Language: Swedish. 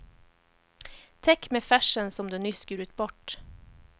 Täck med färsen som du nyss skurit bort.